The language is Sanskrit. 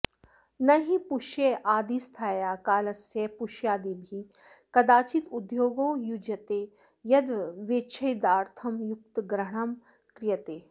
न हि पुष्यादिस्थायाः कालस्य पुष्यादिभिः कदाचिद्योगो युज्यते यद्व्यवच्छेदार्थं युक्तग्रहणं क्रियते